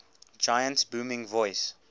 giant's booming voice